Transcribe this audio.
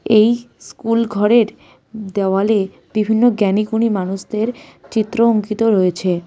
এই স্কুল ঘরের দেওয়ালে বিভিন্ন জ্ঞানীগুণী মানুষদের চিত্র অঙ্কিত রয়েছে.